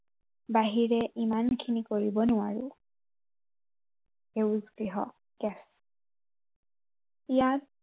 বাহিৰে ইমানখিনি কৰিব নোৱাৰো। সেউজ গৃহ গেছ ইয়াত